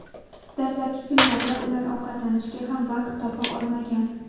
Dastlabki kunlarda ular ovqatlanishga ham vaqt topa olmagan.